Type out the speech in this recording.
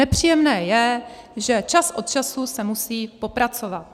Nepříjemné je, že čas od času se musí popracovat.